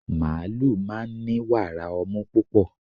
màálù máa ń ni wàrà ọmú púpọ̀